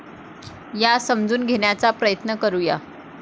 या समजून घेण्याचा प्रयत्न करू या.